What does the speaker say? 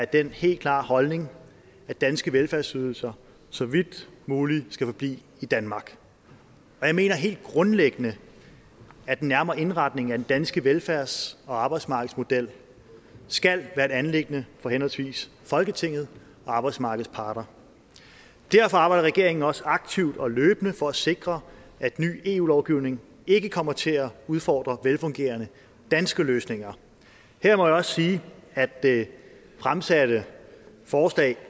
den helt klare holdning at danske velfærdsydelser så vidt muligt skal forblive i danmark og jeg mener helt grundlæggende at den nærmere indretning af den danske velfærds og arbejdsmarkedsmodel skal være et anliggende for henholdsvis folketinget og arbejdsmarkedets parter derfor arbejder regeringen også aktivt og løbende for at sikre at ny eu lovgivning ikke kommer til at udfordre velfungerende danske løsninger her må jeg også sige at det fremsatte forslag